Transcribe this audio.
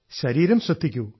ശരീരം ശ്രദ്ധിക്കൂ